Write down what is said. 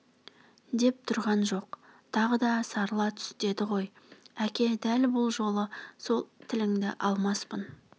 деп тұрған жоқ тағы да сарыла түс деді ғой әке дәл бұл жолы сол тіліңді алмаспын